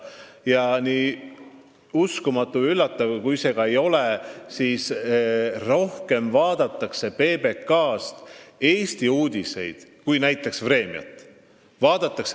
Ja nii uskumatu ja üllatav, kui see ka ei ole, PBK-st vaadatakse rohkem Eesti uudiseid kui näiteks "Vremjat".